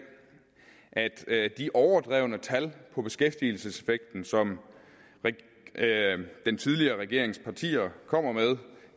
at de overdrevne tal om beskæftigelseseffekten som den tidligere regerings partier kommer med